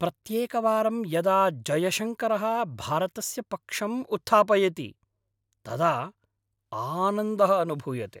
प्रत्येकवारं यदा जयशङ्करः भारतस्य पक्षम् उत्थापयति, तदा आनन्दः अनुभूयते।